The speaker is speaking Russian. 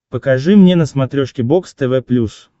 покажи мне на смотрешке бокс тв плюс